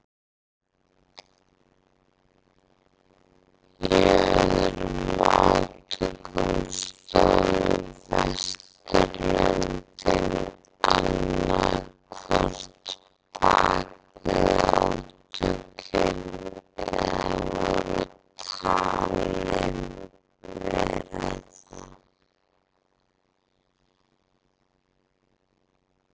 Í öðrum átökum stóðu Vesturlöndin annað hvort bakvið átökin eða voru talin vera það.